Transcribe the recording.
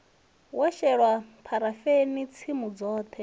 wo shelwa pharafeni tsimu dzoṱhe